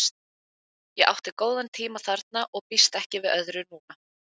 Ég átti góða tíma þarna og býst ekki við öðru núna.